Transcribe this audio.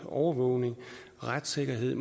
for overvågning retssikkerhed